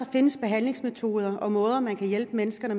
findes behandlingsmetoder og måder man kan hjælpe menneskene